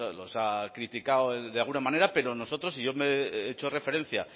los ha criticado de alguna manera pero nosotros y yo he hecho referencia